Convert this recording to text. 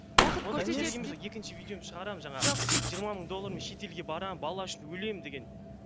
екінші видеомды шығарамын жаңағы жоқ жиырма мың доллармен шетелге барамын бала үшін өлемін деген